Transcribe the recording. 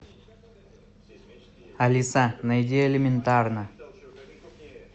алиса найди элементарно